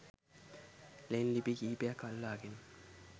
ලෙන් ලිපි කිහිපයක් අල්ලාගෙන